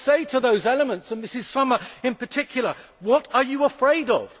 I say to those elements and Ms Sommer in particular what are you afraid of?